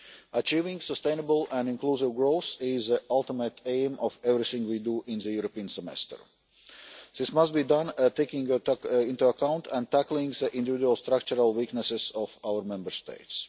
Achieving sustainable and inclusive growth is the ultimate aim of everything we do in the European Semester. This must be done by taking into account and tackling the individual structural weaknesses of our Member States.